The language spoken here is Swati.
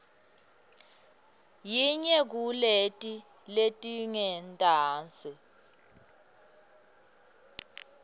yinye kuleti letingentasi